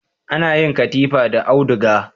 Ana yin katifu da auduga